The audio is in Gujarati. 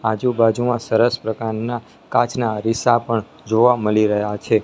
આજુ બાજુમાં સરસ પ્રકારના કાચના અરીસા પણ જોવા મળી રહયા છે.